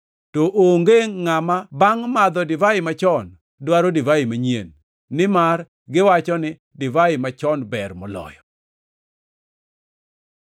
To onge ngʼama bangʼ madho divai machon dwaro divai manyien, nimar giwacho ni, ‘Divai machon ber moloyo.’ ”